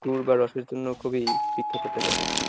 গুড় বা রসের জন্য খুবই বিখ্যাত একটা জায়গা।